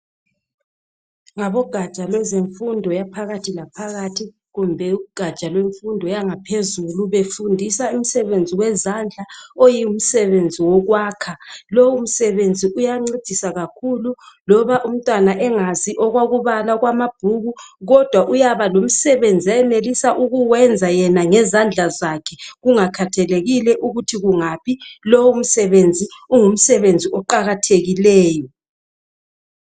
Ngabogaja lezemfundo yaphakathi laphakathi kumbe ugaja lwefundo yangaphezulu befundisa imsebenzi wezandla oyimsebenzi wokwakha lowomsebenzi uyancedisa kakhulu loba umntwana engazi okokubala okwamabhuku kodwa uyaba lomsebenzi ayenelisa ukuwenza yena ngezandla zakhe kungakhathalekile ukuthi kungapha lowomsebenzi ungumsebenzi oqakathekileyo.